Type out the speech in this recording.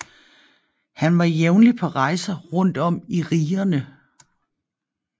Han var jævnlig på rejser rundt om i rigerne